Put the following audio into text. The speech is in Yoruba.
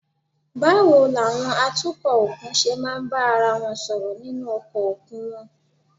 Báwo làwọn atukọ̀ òkun ṣe máa ń bá ara wọn sọ̀rọ̀ nínú ọkọ̀ òkun wọn?